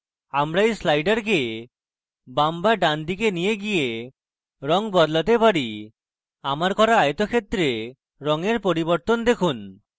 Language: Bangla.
আমরা we sliders বাম বা ডান দিকে নিয়ে গিয়ে রঙ বদলাতে পারি আমার করা আয়তক্ষেত্রে রঙের পরিবর্তন দেখুন